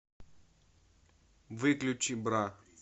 выключи бра